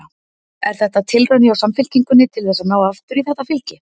Er þetta tilraun hjá Samfylkingunni til þess að ná aftur í þetta fylgi?